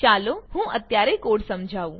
ચાલો હું અત્યારે કોડ સમજાઉં